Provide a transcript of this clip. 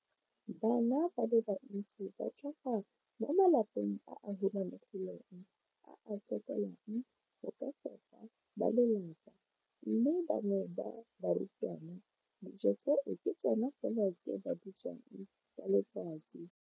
Bana ba le bantsi ba tlhaga mo malapeng a a humanegileng a a sokolang go ka fepa ba lelapa mme ba bangwe ba barutwana, dijo tseo ke tsona fela tse ba di jang ka letsatsi.